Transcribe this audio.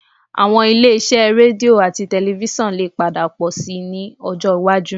Àwọn ilé-iṣẹ́ rédíò àti tẹlifísàn lè padà pọ̀ síi ní ọjọ́ iwájú